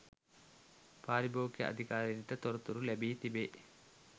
පාරිභෝගික අධිකාරියට තොරතුරු ලැබී තිබේ